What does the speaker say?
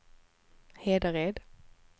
Hedared